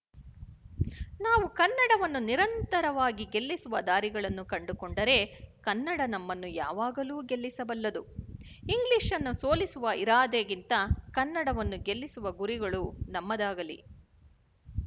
ನಾವು ಕನ್ನಡವನ್ನು ನಿರಂತರವಾಗಿ ಗೆಲ್ಲಿಸುವ ದಾರಿಗಳನ್ನು ಕಂಡುಕೊಂಡರೇ ಕನ್ನಡ ನಮ್ಮನ್ನು ಯಾವಾಗಲೂ ಗೆಲ್ಲಿಸಬಲ್ಲದು ಇಂಗ್ಲಿಶ್‌ನ್ನು ಸೋಲಿಸುವ ಇರಾದೆಗಿಂತ ಕನ್ನಡವನ್ನು ಗೆಲ್ಲಿಸುವ ಗುರಿಗಳು ನಮ್ಮದಾಗಲಿ